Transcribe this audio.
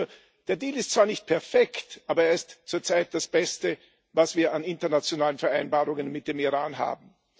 Nur Der Deal ist zwar nicht perfekt, aber er ist zur Zeit das Beste, was wir an internationalen Vereinbarungen mit dem Iran haben.